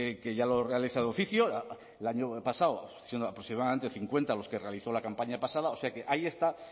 que ya lo realiza de oficio el año pasado aproximadamente cincuenta los que realizó la campaña pasada o sea que ahí están